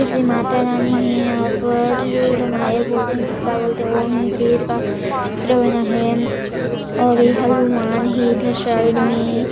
जैसे माता रानी है यहाँ पर जो रमायल बोलते है की क्या बोलते है वो है शेर का चित्र बना है और ये हनुमान है इधर साइड में --